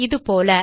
இது போல